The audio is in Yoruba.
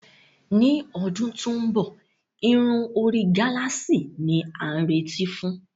Ní ọdún tó ń bọ̀, irun orí gálààsì ni a nírètí fún